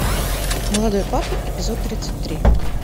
молодой папа эпизод тридцать три